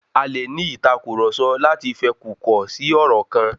A lè ní ìtàkurọ̀sọ láti fẹkukọ̀ si ọ̀rọ̀ kan.